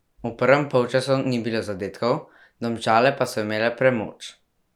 V prvem polčasu ni bilo zadetkov, Domžale pa so imele premoč.